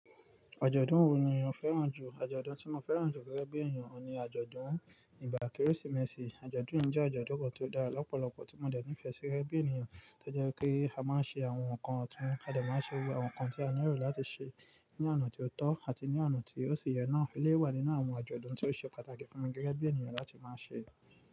Àjọ̀dún wo ni o fẹ́ràn jù? Àjọ̀dún tí mo fẹ́ràn jù gẹ́gẹ́ bí èèyàn ni àjọ̀dún ìgbà Kérésìmesì. Àjọ̀dún yìí jẹ́ àjọ̀dún kan tó dára lọ́pọ̀lọpọ̀ tí mo dà ní ìfẹ́ sí gẹ̀gẹ̀ bí èèyàn tó jẹ́ kí a máa ń ṣe àwọn nǹkan ọ̀tún, a dà máa ń ṣe òwe àwọn nǹkan tí a nílò láti ṣe ní ọ̀nà tó tọ́ àti ní ọ̀nà tí ó ṣe yẹ náà. Eléyi wà nínú àwọn àjọ̀dún tí ó ṣe pàtàkì fún mi gẹ́gẹ́ bí èèyàn láti máa ṣe.